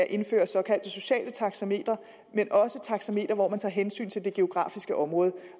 indføre såkaldte sociale taxametre men også taxametre hvor man tager hensyn til det geografiske område